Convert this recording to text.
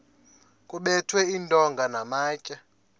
kuphethwe iintonga namatye